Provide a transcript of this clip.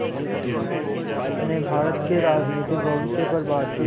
ने भारत के राजनीतिक भविष्य पर बातचीत